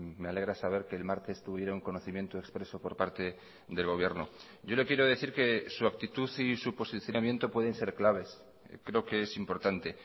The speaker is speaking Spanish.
me alegra saber que el martes tuvieron conocimiento expreso por parte del gobierno yo le quiero decir que su actitud y su posicionamiento pueden ser claves creo que es importante